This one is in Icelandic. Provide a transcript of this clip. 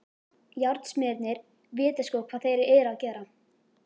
Járnsmiðirnir vita sko hvað þeir eru að gera.